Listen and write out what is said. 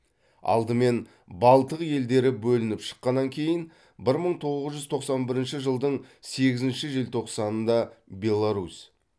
алдымен балтық елдері бөлініп шыққаннан кейін бір мың тоғыз жүз тоқсан бірінші жылдың сегізінші желтоқсанында беларусь